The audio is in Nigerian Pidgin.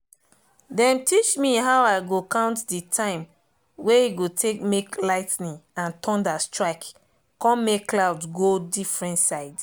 dem teach me how i go count the time wey e go take make lightning and thunder strike con make cloud go different side